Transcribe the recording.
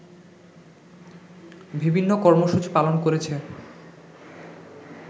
বিভিন্ন কর্মসূচি পালন করেছে